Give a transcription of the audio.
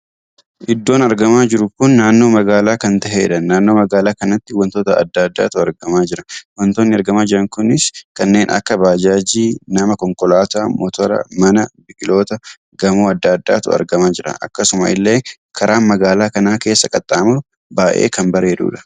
Iddoon argamaa jiru kun naannoo magaalaa kan tahedha. naannoo magaala kanatti wantoota addaa addaatu argamaa jira. wantoonni argamaa jiran kunis kanneen akka bajaajii, nama, konkolaataa, motoora, mana, biqiloota, gamoowwan addaa addaatu argamaa jira. akkasuma illee karaan magaalaa kana keessa qaxxamuru baay'ee kan bareedudha.